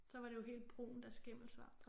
Så var det jo helt brunt af skimmelsvamp